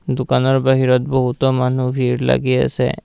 দোকানৰ বাহিৰত বহুতো মানুহ ভিৰ লাগি আছে।